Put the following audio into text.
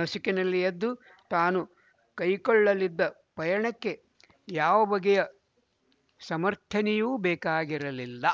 ನಸುಕಿನಲ್ಲಿ ಎದ್ದು ತಾನು ಕೈಕೊಳ್ಳಲಿದ್ದ ಪಯಣಕ್ಕೆ ಯಾವ ಬಗೆಯ ಸಮರ್ಥನೆಯೂ ಬೇಕಾಗಿರಲಿಲ್ಲ